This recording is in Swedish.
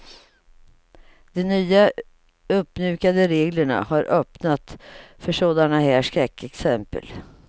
De nya, uppmjukade reglerna har öppnat för sådana här skräckexempel.